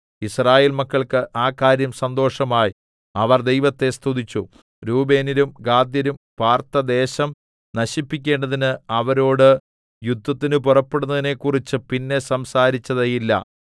യിസ്രായേൽ മക്കൾക്ക് ആ കാര്യം സന്തോഷമായി അവർ ദൈവത്തെ സ്തുതിച്ചു രൂബേന്യരും ഗാദ്യരും പാർത്ത ദേശം നശിപ്പിക്കേണ്ടതിന് അവരോടു യുദ്ധത്തിന് പുറപ്പെടുന്നതിനെക്കുറിച്ച് പിന്നെ സംസാരിച്ചതേയില്ല